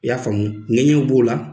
I y'a faamu ŋɛɲɛw b'o la